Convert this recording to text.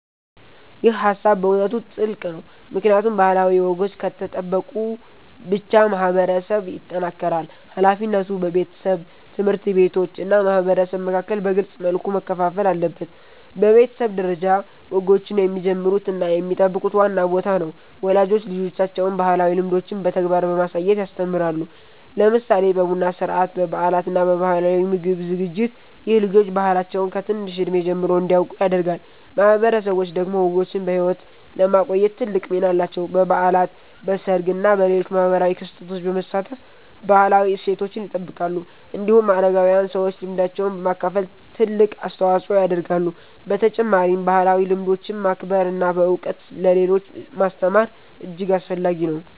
ይህ ሃሳብ በእውነት ጥልቅ ነው፣ ምክንያቱም ባህላዊ ወጎች ከተጠበቁ ብቻ ማህበረሰብ ይጠናከራል። ሃላፊነቱ በቤተሰብ፣ ትምህርት ቤቶች እና ማህበረሰብ መካከል በግልጽ መልኩ መከፋፈል አለበት። በቤተሰብ ደረጃ፣ ወጎችን የሚጀምሩት እና የሚጠብቁት ዋና ቦታ ነው። ወላጆች ልጆቻቸውን ባህላዊ ልምዶችን በተግባር በማሳየት ያስተምራሉ፣ ለምሳሌ በቡና ሥርዓት፣ በበዓላት እና በባህላዊ ምግብ ዝግጅት። ይህ ልጆች ባህላቸውን ከትንሽ እድሜ ጀምሮ እንዲያውቁ ያደርጋል። ማህበረሰቦች ደግሞ ወጎችን በሕይወት ለማቆየት ትልቅ ሚና አላቸው። በበዓላት፣ በሰርግ እና በሌሎች ማህበራዊ ክስተቶች በመሳተፍ ባህላዊ እሴቶችን ይጠብቃሉ። እንዲሁም አረጋዊያን ሰዎች ልምዳቸውን በማካፈል ትልቅ አስተዋጽኦ ያደርጋሉ። በተጨማሪም ባህላዊ ልምዶችን ማክበር እና በእውቀት ለሌሎች ማስተማር እጅግ አስፈላጊ ነው።